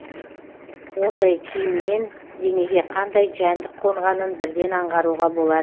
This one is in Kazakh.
ондай киімнен денеге қандай жәндік қонғанын бірден аңғаруға